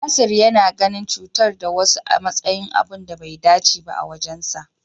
Nasir yana ganin cutar da wasu a matsayin abun da bai dace ba a wajensa.